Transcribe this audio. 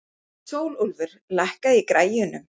Sólúlfur, lækkaðu í græjunum.